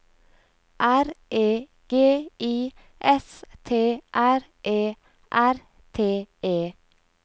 R E G I S T R E R T E